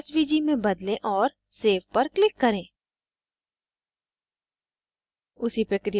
format को svg में बदलें और save पर click करें